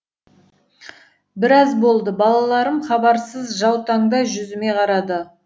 біраз болды балаларым хабарсыз жаутаңдай жүзіме қарады